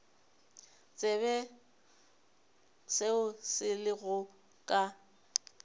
tsebe seo se lego ka